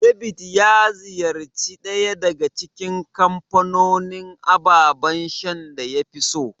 David ya ziyarci ɗaya daga cikin kamfanonin ababan shan da yafi so.